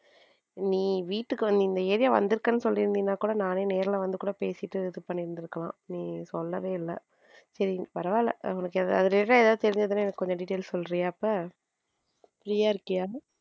நீ வீட்டுக்கு இந்த area வந்து இருக்கேன்னு சொல்லி இருந்தா கூட நானே நேர்ல வந்து கூட பேசிட்டு இது பண்ணி இருப்பேன் பண்ணி இருக்கலாம் நீ சொல்லவே இல்ல சரி பரவால்ல உனக்கு அது related ஆ எதுவும் தெரிஞ்சதுன்னா எனக்கு கொஞ்சம் details சொல்றியா இப்ப free யா இருக்கியா இப்போ.